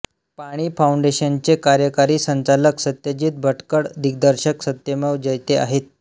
पाणी फाऊंडेशनचे कार्यकारी संचालक सत्यजित भटकळ दिग्दर्शक सत्यमेव जयते आहेत